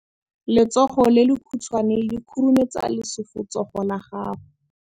letsogo le lekhutshwane le khurumetsa lesufutsogo la gago.